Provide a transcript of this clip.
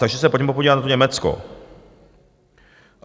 Takže se pojďme podívat na to Německo.